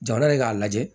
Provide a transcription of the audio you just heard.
Jamana ye k'a lajɛ